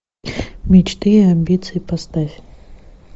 мечты и амбиции поставь